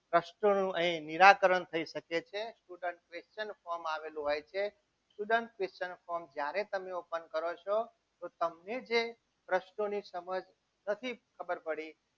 પ્રશ્નોનું અહીં નિરાકરણ થઈ શકે છે student question form આવેલું હોય છે student question form જ્યારે તમે ઓપન કરો છો તો તમને જે પ્રશ્નોની સમજ નથી ખબર પડી.